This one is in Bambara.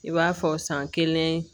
I b'a fɔ san kelen